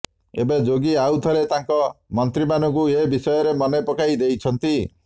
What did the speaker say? ଏବେ ଯୋଗୀ ଆଉ ଥରେ ତାଙ୍କ ମନ୍ତ୍ରୀମାନଙ୍କୁ ଏ ବିଷୟରେ ମନେ ପକାଇ ଦେଇଛନ୍ତି